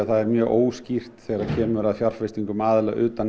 það er mjög óskýrt þegar kemur að fjárfestingum aðila utan